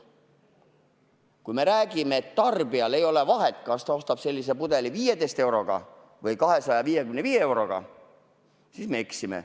Kui me räägime, et tarbijal ei ole vahet, kas ta ostab sellise pudeli 15 euroga või 255 euroga, siis me eksime.